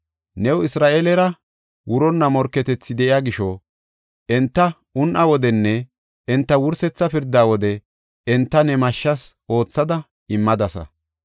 New Isra7eelera wuronna morketethi de7iya gisho, enta un7aa wodenne enta wursetha pirdaa wode, enta ne mashshas aathada immadasa.